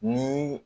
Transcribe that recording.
Ni